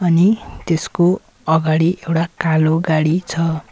अनि त्यसको अगाडि एउटा कालो गाडी छ।